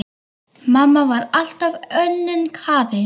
Mamma var alltaf önnum kafin.